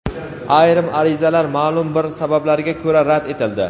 Ayrim arizalar maʼlum bir sabablarga ko‘ra rad etildi.